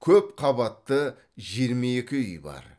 көпқабатты жиырма екі үй бар